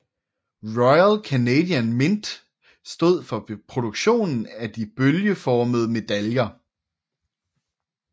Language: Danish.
Royal Canadian Mint stod for produktionen af de bølgeformede medaljer